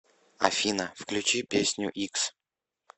афина включи песню икс